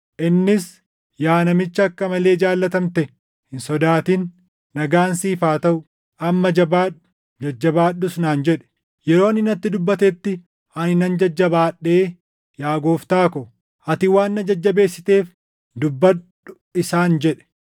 Innis, “Yaa namicha akka malee jaallatamte, hin sodaatin; nagaan siif haa taʼu! Amma jabaadhu; jajjabaadhus” naan jedhe. Yeroo inni natti dubbatetti ani nan jajjabaadhee, “Yaa Gooftaa ko, ati waan na jajjabeessiteef dubbadhu” isaan jedhe.